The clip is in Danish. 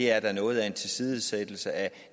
er noget af en tilsidesættelse af